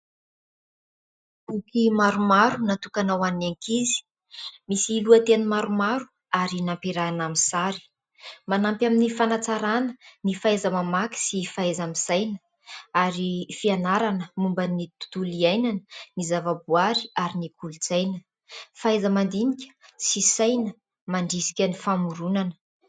Boky maromaro natokana ho an'ny ankizy, misy lohateny maromaro ary nampiarahana amin'ny sary. Manampy amin'ny fanatsarana, ny fahaiza-mamaky sy fahaiza-misaina ary fianarana momban'ny tontolo iainana ny zavaboary ary ny kolontsaina ; fahaiza-mandinika sy saina mandrisika ny famoronana.